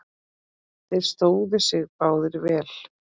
Þeir stóðu sig báðir vel.